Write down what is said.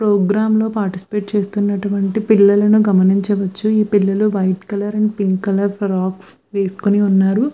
Programme లో participate చేస్తునటువంటి పిల్లలను గమనించ వచ్చు ఈ పిల్లలు white colour and pink colour frocks వేసువేసుకుని ఉన్నారు.